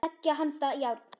Beggja handa járn.